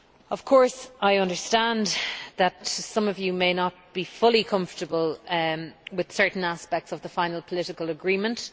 Of course, I understand that some of you may not be entirely comfortable with certain aspects of the final political agreement.